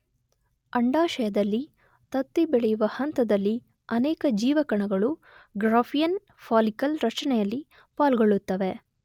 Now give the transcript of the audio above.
ಅಂಡಾಶಯದಲ್ಲಿ ತತ್ತಿ ಬೆಳೆಯುವ ಹಂತದಲ್ಲಿ ಅನೇಕ ಜೀವಕಣಗಳು ಗ್ರಾಫಿಯನ್ ಫಾಲಿಕಲ್ ರಚನೆಯಲ್ಲಿ ಪಾಲ್ಗೊಳ್ಳುತ್ತವೆ.